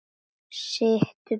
Sittu beinn.